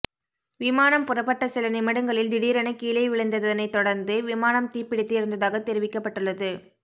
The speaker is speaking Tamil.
விமானம் புறப்பட்ட சில நிமிடங்களில் திடீரென கீழே விழுந்ததனை தொடர்ந்து விமானம் தீப்பிடித்து எரிந்ததாக தெரிவிக்கப்பட்டுள்ளது